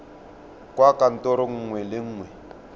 kwa kantorong nngwe le nngwe